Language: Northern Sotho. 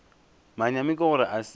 manyami ke gore a se